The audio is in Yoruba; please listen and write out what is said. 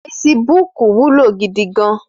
Fésibúk wúló gidi gàn